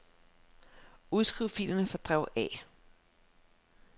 Udskriv filerne fra drev A.